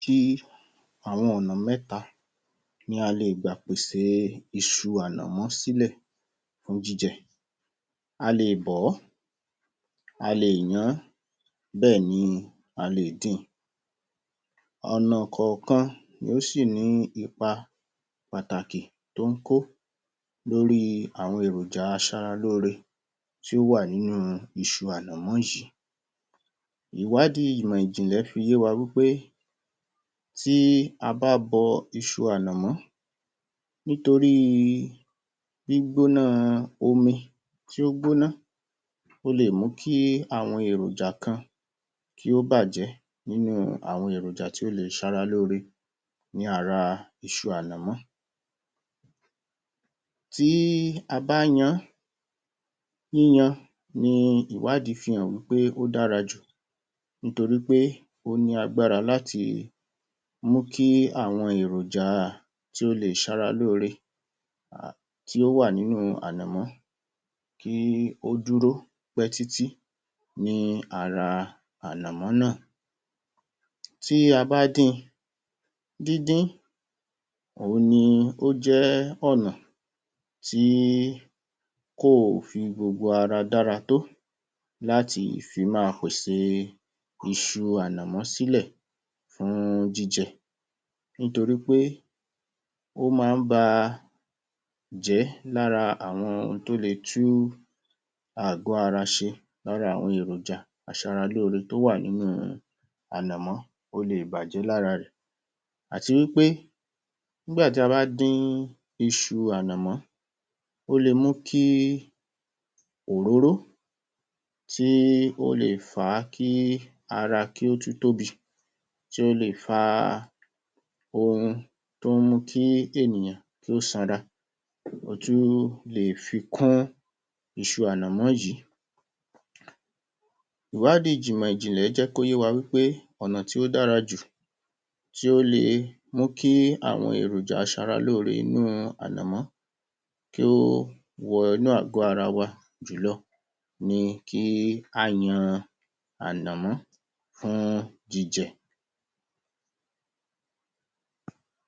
‎Tí àwọn Ọnà mẹ́ta ni a lè gbà ṣe iṣu à àmọ́ sílẹ̀ ní jíjẹ, a lè bọ́, a lè yan án bẹ́ẹ̀ ni a lè dín in, ọ̀nà kọ̀ọ̀kan ló sì ní ipa pàtàki tí ó ń kó lórí èròjà aṣara lóore, tí ó wà nínú iṣu ànàmọ́ yìí, ìwádìí ìmọ̀ ìjìnlẹ̀ fi yé wa pé tí a bá bọ iṣu ànàmọ́ nítorí gbígbóná omi tí ó gbóná ó lè mú kí àwọn èròjà kan bàjẹ́ nínú àwọn èròjà tí ó lè sara lóore ní ara isu ànàmọ́, tí a bá yan án ni ìwádìí fi hàn pé ó dára jù nítorí pé ó ní agbára láti mú kí awọn èròjà tí ó lè Sara lóore tí ó wà nínú ànàmọ́ kí ó lè mú kí àwọn èròjà dúró pẹ́ títí ní ara ànàmọ́ náà tí a bá dín in, díndín ni ó ó jẹ́ ọ̀nà tí kò fi gbogbo ara dára tó láti fi máa pèsè isu ànàmọ́ sílẹ̀ fún díndín ni ó jẹ́ ọ̀nà tí kò fi gbogbo ara dára tó láti fi máa fún jíjẹ nítorí pé ó máa ń bàjẹ́ láti ara ohun tí ó le tún àgọ́ ara ṣe lára àwọn èròjà aṣara lóòrè tí ó wà nínú ànàmọ́ ó lè bàjẹ́ lára rẹ àti wí pé nígbà tí a bá dín iṣu ànàmọ́ ó lè mú kí òróró tí ó lè fà á kí ara tún tóbi tí ó lè fa ohun tí ó mú kí ènìyàn sanra tí ó tún lè fi kún iṣu ànàmọ́ yìí, ìwádìí ìmọ̀ ìjìnlẹ̀ fi yé wa pé ọ̀nà tí ó dára jù tí ó lè mú kí àwọn èròjà aṣara lóòrè inú ànàmọ́ kí ó wọ inú àgọ́ ara wa jùlọ ni kí á yan ànàmọ́ fún jíjẹ.